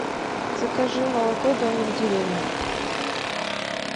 закажи молоко домик в деревне